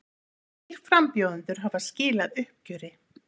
Þrír frambjóðendur hafa skilað uppgjöri